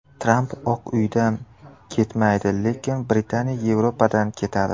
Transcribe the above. Tramp Oq Uydan ketmaydi, lekin Britaniya Yevropadan ketadi.